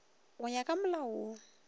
go ya ka molao wo